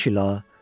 "İniş il a."